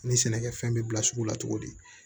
Ni sɛnɛkɛfɛn bɛ bila sugu la cogo di